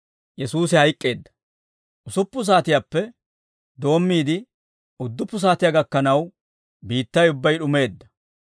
Usuppun saatiyaappe doommiide, udduppu saatiyaa gakkanaw, biittay ubbay d'umeedda.